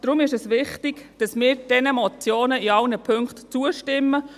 Deshalb ist es wichtig, dass wir diesen Motionen in allen Punkten zustimmen.